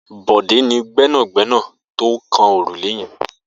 Bode ni gbẹnágbẹná tó kàn órúlé yèn